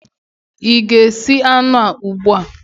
ị ga-esi anụ ugbu a?